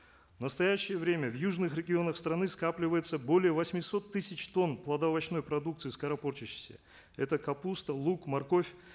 в настоящее время в южных регионах страны скапливается более восьмисот тысяч тонн плодоовощной продукции скоропортящейся это капуста лук морковь